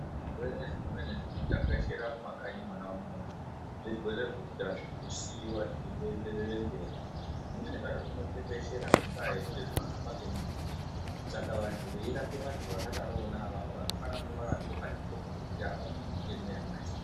Zvirwere zvimweni zvinotekeshera mumakanyi mwona umwomwo zvirwere zvekuti azvidi kusiiwa zveindoenderera mberi zvimweni zvacho zvinotekeshera ngendaa yekuti zvinohamba ngemututu saka vanthu veirapa vanthu vakadaro vona avavo vanofana kunge vakagqoka zvigqoko zvekuti avapindwi nemweya wacho.